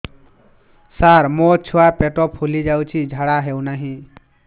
ସାର ମୋ ଛୁଆ ପେଟ ଫୁଲି ଯାଉଛି ଝାଡ଼ା ହେଉନାହିଁ